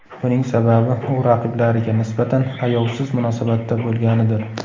Buning sababi, u raqiblariga nisbatan ayovsiz munosabatda bo‘lganidir.